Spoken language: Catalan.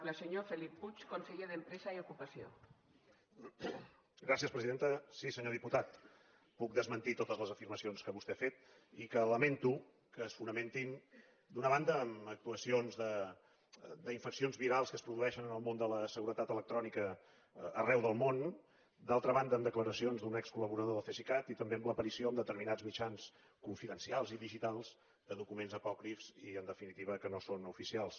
sí senyor diputat puc desmentir totes les afirmacions que vostè ha fet i que lamento que es fonamentin d’una banda en actuacions d’infeccions virals que es produeixen en el món de la seguretat electrònica arreu del món d’altra banda en declaracions d’un excol·laborador del cesicat i també en l’aparició en determinats mitjans confidencials i digitals de documents apòcrifs i en definitiva que no són oficials